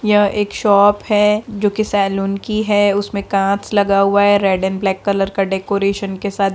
यह एक शॉप है जो कि सैलून की है उसमे कांच लगा हुआ है रेड एण्ड ब्लैक कलर का डेकोरैशन के साथ।